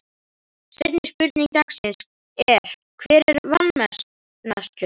Seinni spurning dagsins er: Hver er vanmetnastur?